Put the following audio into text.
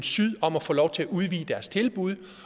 syd om at få lov til at udvide deres tilbud